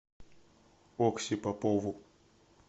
окси попову